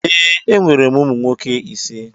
Ee, enwere m ụmụ nwoke ise.